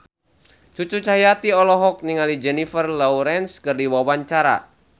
Cucu Cahyati olohok ningali Jennifer Lawrence keur diwawancara